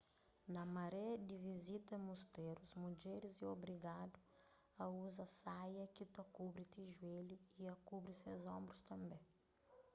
na mare di vizita mustérus mudjeris é obrigadu a uza saia ki ta kubri ti juélhu y a kubri ses onbrus tanbê